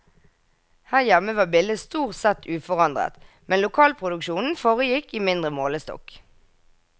Her hjemme var bildet stort sett uforandret, men lokalproduksjonen foregikk i mindre målestokk.